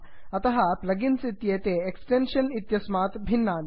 अतः प्लगिन्स् इत्येते एक्स्टेन्षन् इत्यस्मात् भिन्नानि